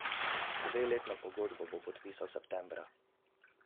Dveletno pogodbo bo podpisal septembra.